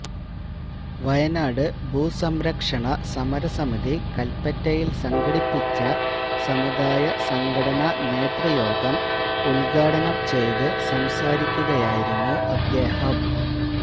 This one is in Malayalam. വയനാട് ഭൂസംരക്ഷണ സമര സമിതി കല്പ്പറ്റയില് സംഘടിപ്പിച്ച സമുദായ സംഘടനാ നേതൃയോഗം യോഗം ഉദ്ഘാടനം ചെയ്ത് സംസാരിക്കുകയായിരുന്നു അദ്ദേഹം